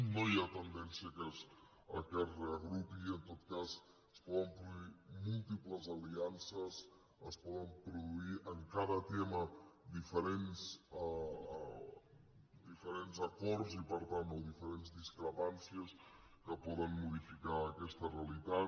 no hi ha tendència que es reagrupi i en tot cas es poder produir múltiples aliances es poden produir en cada tema diferents acords o diferents discrepàncies que poden modificar aquesta realitat